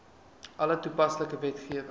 alle toepaslike wetgewing